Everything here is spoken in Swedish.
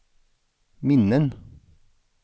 minnen